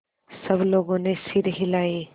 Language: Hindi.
सब लोगों ने सिर हिलाए